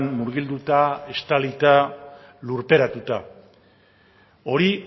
murgilduta estalita lurperatuta hori